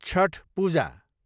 Chhath Puja